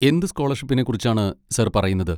എന്ത് സ്കോളർഷിപ്പിനെ കുറിച്ചാണ് സാർ പറയുന്നത്?